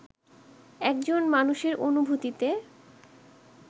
এখন মানুষের অনুভূতিতে